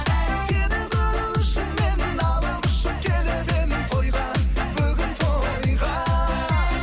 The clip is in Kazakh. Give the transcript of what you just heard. сені көру үшін мен алып ұшып келіп едім тойға бүгін тойға